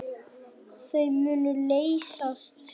Þau munu leysast.